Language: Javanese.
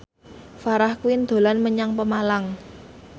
Farah Quinn dolan menyang Pemalang